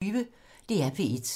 DR P1